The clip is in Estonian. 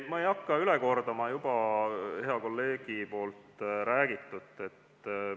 Ma ei hakka üle enam kordama hea kolleegi räägitut.